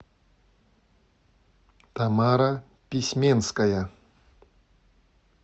тамара письменская